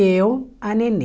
Eu, a Nenê.